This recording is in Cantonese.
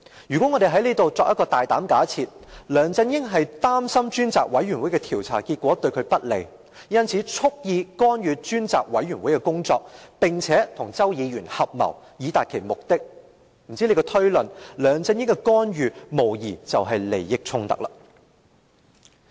如果我們大膽假設梁振英擔心專責委員會的調查結果對他不利，因此蓄意干預專責委員會的工作，並與周議員合謀以達其目的，按這推論，梁振英的干預無疑是涉及利益衝突。